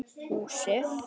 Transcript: Húsið fékk nafnið Naust.